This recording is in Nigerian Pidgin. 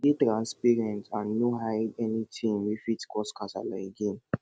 dey transparent and no hide anytin wey fit cause kasala again